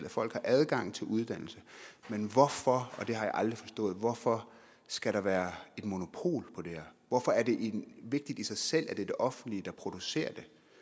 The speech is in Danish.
at folk har adgang til uddannelse men hvorfor hvorfor skal der være et monopol hvorfor er det vigtigt i sig selv at det er det offentlige der producerer